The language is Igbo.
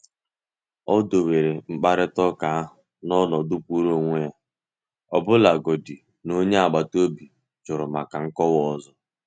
Ó do were mkparịta ụka ahụ n’ọ̀nọdụ kwụụrụ onwe ya, ọbụlagodi na onye agbata obi jụrụ maka nkọwa ọzọ.